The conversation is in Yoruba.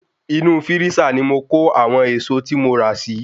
Inú Fírísà ni mo kó àwọn ẹ̀èsọ tí mo ra si